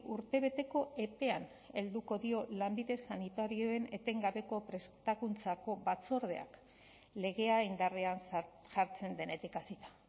urtebeteko epean helduko dio lanbide sanitarioen etengabeko prestakuntzako batzordeak legea indarrean jartzen denetik hasita